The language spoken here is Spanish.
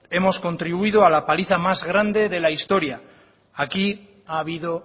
hemos contribuido a la paliza más grande de la historia aquí ha habido